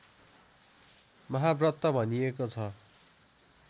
महाव्रत भनिएको छ